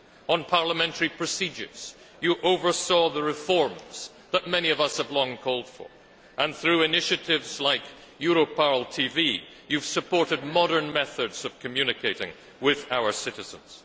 On parliamentary procedures, you oversaw the reforms that many of us have long called for and, through initiatives like Europarl TV, you have supported modern methods of communicating with our citizens.